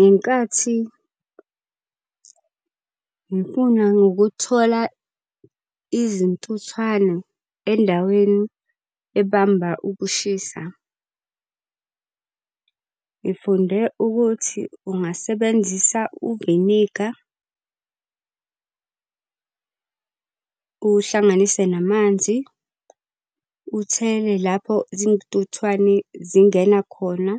Ngenkathi ngifuna ngokuthola izintuthwane endaweni ebamba ukushisa, ngifunde ukuthi ungasebenzisa uviniga , uwuhlanganise namanzi, uthele lapho zintuthwane zingena khona,